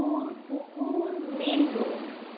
পুর পুকুর main road.